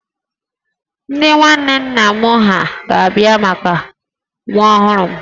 Ndị nwanne nna m ha ga-abịa maka nwa ọhụrụ m